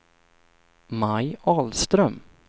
Maj Ahlström